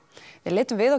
við litum við á